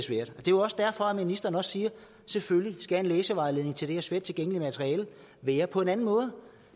jo også derfor ministeren siger selvfølgelig skal en læsevejledning til det her svært tilgængelige materiale være på en anden måde